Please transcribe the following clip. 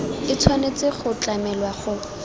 e tshwanetse go tlamelwa go